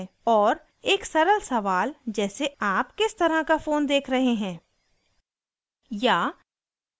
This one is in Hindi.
और एक सरल सवाल जैसे ** आप किस तरह का फ़ोन देख रहे हैं